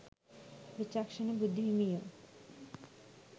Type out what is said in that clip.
විචක්ෂණ බුදුහිමියෝ